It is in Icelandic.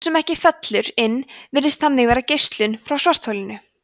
sú sem ekki fellur inn virðist þannig vera geislun frá svartholinu